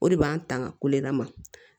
O de b'an tanga kololama